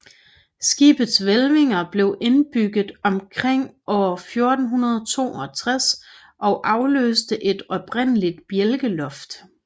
Skibets hvælvinger blev indbygget omkring år 1462 og afløste et oprindeligt bjælkeloft